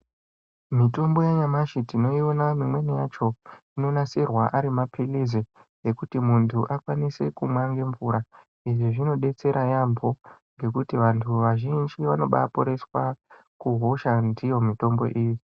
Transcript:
Mitombo yanyamashi tinoiona imweni yacho anonasirwa ari mapilizi yekuti muntu akwanise kumwa ngemvura izvi zvinodetsera yaamho ngekuti vantu vazhinji vanoba vaporeswa kuhosha ndiyo mitombo iyi.